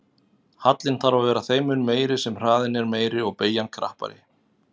Hallinn þarf að vera þeim mun meiri sem hraðinn er meiri og beygjan krappari.